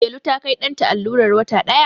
Delu ta Kai ɗanta allurar wata ɗaya